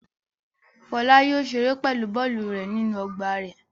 Fọlá yóò ṣeré pẹ̀lú bọ́ọ́lù rẹ̀ nínú ọgbà rẹ̀.